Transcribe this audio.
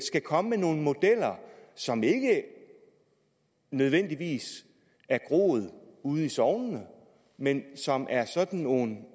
skal komme med nogle modeller som ikke nødvendigvis er groet ude i sognene men som er sådan nogle